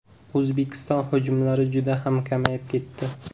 O‘zbekiston hujumlari juda ham kamayib ketdi.